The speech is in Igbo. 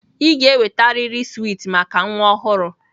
Ị ga-enwetarịrị swiiti maka nwa ọhụrụ!